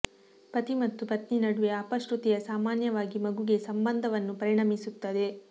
ಪತಿ ಮತ್ತು ಪತ್ನಿ ನಡುವೆ ಅಪಶ್ರುತಿಯ ಸಾಮಾನ್ಯವಾಗಿ ಮಗುವಿಗೆ ಸಂಬಂಧವನ್ನು ಪರಿಣಮಿಸುತ್ತದೆ